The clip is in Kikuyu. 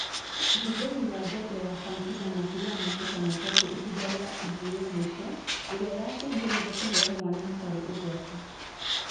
Ũhũthĩri wa njanjo ya fansida makĩria ma maita matatũ ihinda rĩa ihu rĩa mũico ĩrĩa yacũngĩrĩirie kũheo mwana hatarĩ ugwati